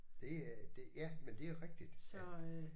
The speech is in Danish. Det er det ja men det er rigtigt at